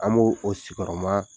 An b'o o sigiyɔrɔma